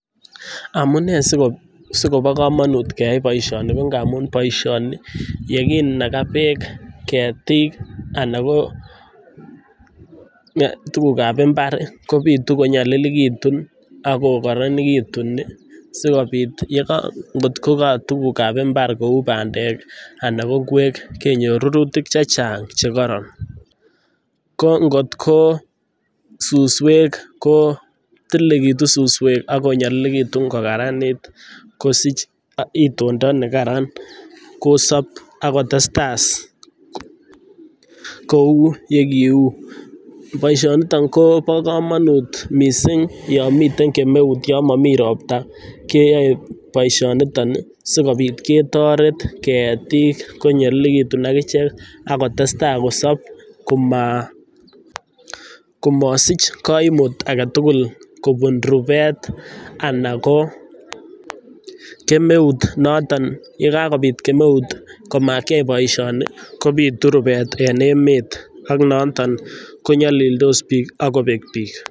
Ngamun yeginaga beek ketik anan ko tukuk ab imbar kobitu konyalilekitu agokararanekitun asikobit atko katukuk ab imbarkou bandek anan koko ingwek kenyor rurutik chechang chekoronko ngotko suswek kotililekitu suswwek agokaranit kosich itonda nekatan, kosab agotestai kou yekiu. Boishoni Kobo kamanut mising yo Mami robta keyaei boishonital sikobit ketoret ketik konyalilekitu agichekak kotestai kosab kamasich kaimut agetugul kobun rubet anan kokemeut uo Mami robta keyaei boishonitok sikobit ketoret ketik konyalilekitu konyalilekitu akichek akotestai kosab kamasich kaimut agetugul kobun rubet anan ko kemeut motak yekakobit kemeut komakiyai boishonikobitu rubet en emet AK notok konyalilsot bik akobek bik